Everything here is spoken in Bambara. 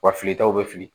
Wa filitaw bɛ fili